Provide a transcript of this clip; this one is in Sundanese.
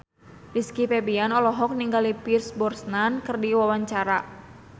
Rizky Febian olohok ningali Pierce Brosnan keur diwawancara